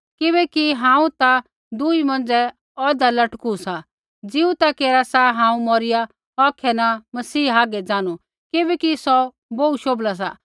किबैकि हांऊँ ता दुई मौंझ़ै औधा लटकू सा ज़ीऊ ता केरा सा हांऊँ मौरिया औखै न मसीह हागै ज़ानू किबैकि सौ बोहू शोभला सा